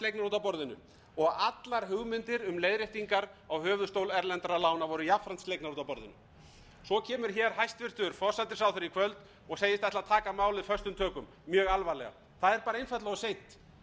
af borðinu og allar hugmyndir um leiðréttingar á höfuðstól erlendra lána voru jafnframt slegnar út af borðinu svo eru hér hæstvirtur forsætisráðherra í kvöld og segist ætla að taka málið föstum tökum mjög alvarlega það er bara einfaldlega of seint